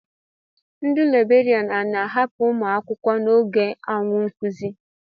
Ndị libèrián a na-ahapụ ụmụ akwụkwọ n'oge awa nkuzi